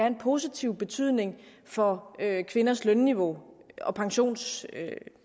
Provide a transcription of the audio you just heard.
en positiv betydning for kvinders lønniveau og pensionsniveau